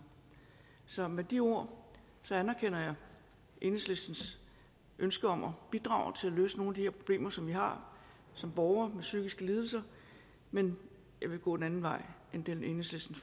så med de ord anerkender jeg enhedslistens ønske om at bidrage til at løse nogle af de her problemer som vi har som borgere med psykiske lidelser men jeg vil gå en anden vej end den enhedslisten